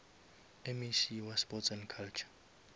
mec wa sports and culture